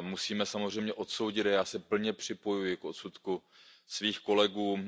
Musíme samozřejmě odsoudit a já se plně připojuji k odsudku svých kolegů